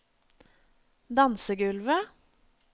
dansegulvet